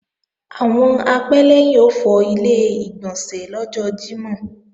Àwọn apẹ́lẹ́yìn ó fọ Ilé-ìgbọ̀nsẹ̀ lọ́jọ́ Jímọ̀